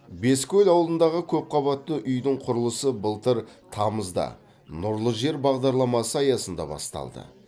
бескөл ауылындағы көпқабатты үйдің құрылысы былтыр тамызда нұрлы жер бағдарламасы аясында басталды